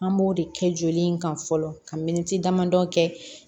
An b'o de kɛ joli in kan fɔlɔ ka miniti damadɔ kɛ